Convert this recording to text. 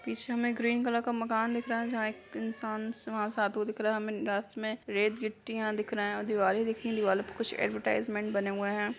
पीछे हमे एक ग्रीन कलर का मकान दिख रहा है जहाँ एक इंसान से वहाँ से आते हुए दिख रहा है। हमे रास्त मे रेड गिट्टियाँ दिख रही हैं। दीवारे दिख रही हैं। दीवारों पे कुछ ऐड्वर्टाइज़्मन्ट बने हुए हैं।